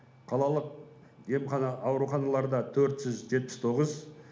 қалалық емхана ауруханаларда төрт жүз жетпіс тоғыз